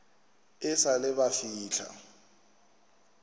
e sa le ba fihla